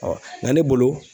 nka ne bolo